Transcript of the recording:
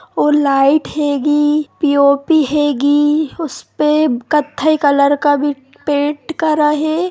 और लाइट हैगी पीओपी हैगी उसपे कत्थई कलर का भी पेन्ट करा है।